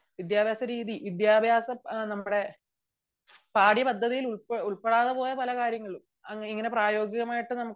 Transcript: വിദ്യാഭ്യാസം രീതി വിദ്യാഭ്യാസം നമ്മളെ പാഠ്യപദ്ധതിയിൽ ഉൾപ്പെടാതെ പോയ പല കാര്യങ്ങളുണ്ട് ഇങ്ങിനെപ്രയോഗികികമായിട്ടു നമുക്ക്